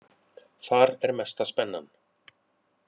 Þar er mesta spennan.